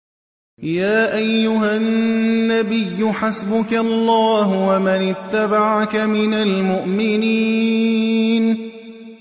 يَا أَيُّهَا النَّبِيُّ حَسْبُكَ اللَّهُ وَمَنِ اتَّبَعَكَ مِنَ الْمُؤْمِنِينَ